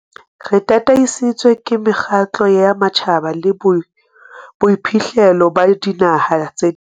Re tataisitswe ke mekgatlo ya matjhaba le boiphihlelo ba dinaha tse ding.